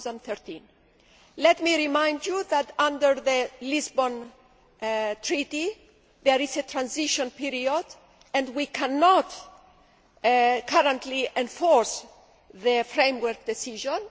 2013. Let me remind you that under the Lisbon Treaty there is a transition period, and we cannot currently enforce the framework decision.